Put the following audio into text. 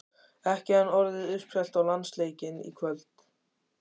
Ekki enn orðið uppselt á landsleikinn í kvöld?